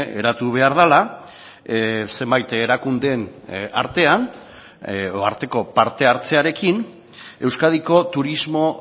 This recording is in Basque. eratu behar dela zenbait erakundeen artean edo arteko parte hartzearekin euskadiko turismo